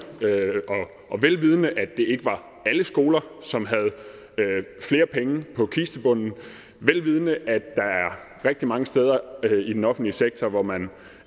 vel vidende at det ikke var alle skoler som havde flere penge på kistebunden vel vidende at der er rigtig mange steder i den offentlige sektor hvor man